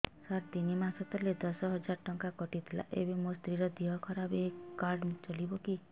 ସାର ତିନି ମାସ ତଳେ ଦଶ ହଜାର ଟଙ୍କା କଟି ଥିଲା ଏବେ ମୋ ସ୍ତ୍ରୀ ର ଦିହ ଖରାପ ଏ କାର୍ଡ ଚଳିବକି